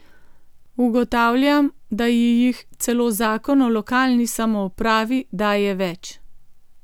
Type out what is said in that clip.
Ugotavljam, da ji jih celo zakon o lokalni samoupravi daje več.